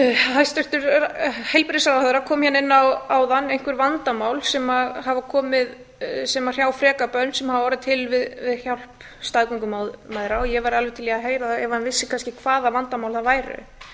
hæstvirtur heilbrigðisráðherra kom áðan inn á einhver vandamál sem hrjá frekar börn sem hafa orðið til við hjálp staðgöngumæðra og ég væri alveg til í að heyra það ef hann vissi kannski hvaða vandamál það væru